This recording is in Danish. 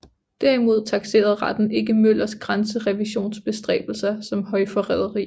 Derimod takserede retten ikke Møllers grænserevisionsbestræbelser som højforræderi